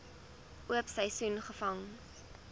oop seisoen gevang